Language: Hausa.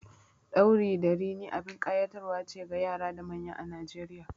Ɗauri da rini abin ƙayatarwa ce ga yara da manya a Najeriya.